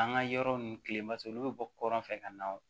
An ka yɔrɔ ninnu kilen mas olu bɛ bɔ kɔrɔn fɛ ka na o